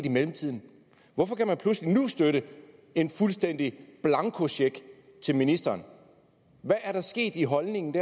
i mellemtiden hvorfor kan man pludselig nu støtte en fuldstændig blankocheck til ministeren hvad er der sket i holdningen